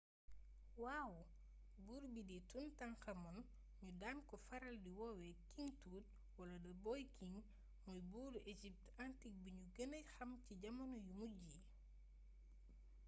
waaw buur bii di toutankhamon ñu daan ko faral di woowe king tut wala the boy king mooy buuru égypte antique bi ñu gëna xam ci jamono yu mujj yi